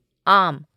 आम